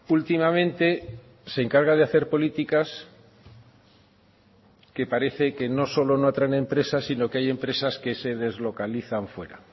últimamente se encarga de hacer políticas que parece que no solo no atraen empresas sino que hay empresas que se deslocalizan fuera